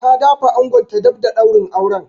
Ta da fa angonta daf da daurin auren.